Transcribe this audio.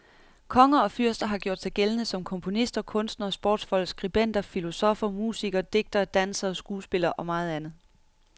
Konger og fyrster har gjort sig gældende som komponister, kunstnere, sportsfolk, skribenter, filosofer, musikere, digtere, dansere, skuespillere og meget andet.